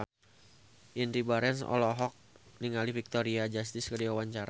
Indy Barens olohok ningali Victoria Justice keur diwawancara